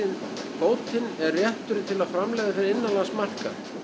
kvótinn er réttur til að framleiða fyrir innanlandsmarkað